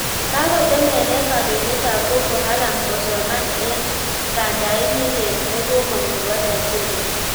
Kakotemenee kandoindet ap Boko Haram kosoman eng kandait nelel nekamong nepo nigeria